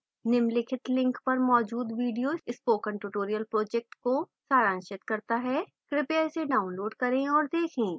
निम्नलिखित link पर मौजूद video spoken tutorial project को सारांशित करता है कृपया इसे डाउनलोड करें और देखें